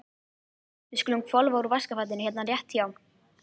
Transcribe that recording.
Við skulum hvolfa úr vaskafatinu hérna rétt hjá.